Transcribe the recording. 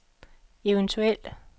eventuel